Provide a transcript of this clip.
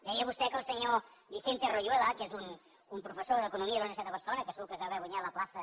deia vostè que el senyor vicente royuela que és un professor d’economia de la universitat de barcelona que segur que es deu haver guanyat la plaça